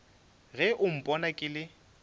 ge o mpona ke le